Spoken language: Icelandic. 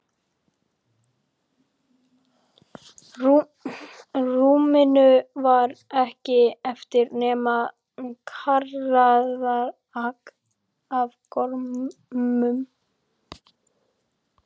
rúminu var ekki eftir nema kraðak af gormum.